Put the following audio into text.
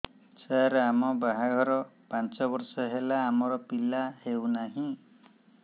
ସାର ଆମ ବାହା ଘର ପାଞ୍ଚ ବର୍ଷ ହେଲା ଆମର ପିଲା ହେଉନାହିଁ